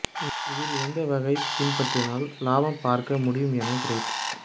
இதில் எந்த வகையைப் பின்பற்றினால் லாபம் பார்க்க முடியும் என கிரேட்